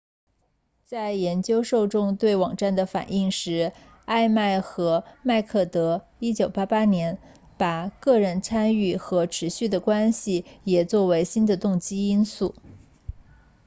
在研究受众对网站的反应时艾麦和麦克德1998年把个人参与和持续的关系也作为新的动机因素